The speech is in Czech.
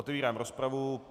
Otevírám rozpravu.